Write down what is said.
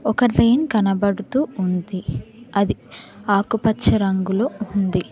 ఒక ట్రైన్ కనబడుతూ ఉంది అది ఆకు పచ్చ రంగులో ఉంది.